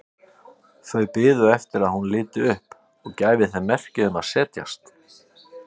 Þau biðu eftir að hún liti upp og gæfi þeim merki um að setjast.